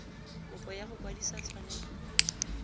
kopo ya go kwadisa tshwanelo